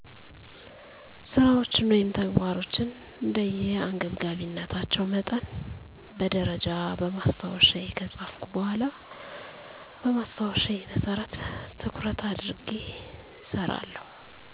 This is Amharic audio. ስራወቸን ወይም ተግባሮቸን እንደ አንገብጋቢነታቸው መጠን በደረጃ በማስታወሻየ ከጻፍኩ በኋላ በማስታወሻየ መሰረት ትኩረት አድርጌ እሰራለሁ።